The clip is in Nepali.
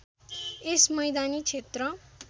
यस मैदानी क्षेत्र